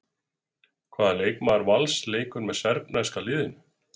Hvaða leikmaður Vals leikur með serbneska liðinu?